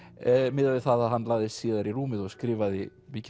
miðað við það að hann lagðist síðar í rúmið og skrifaði mikið